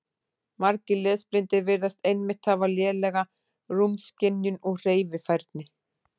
Margir lesblindir virðast einmitt hafa lélega rúmskynjun og hreyfifærni.